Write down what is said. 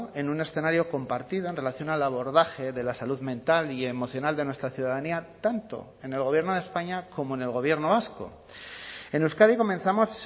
en un escenario compartido en relación al abordaje de la salud mental y emocional de nuestra ciudadanía tanto en el gobierno de españa como en el gobierno vasco en euskadi comenzamos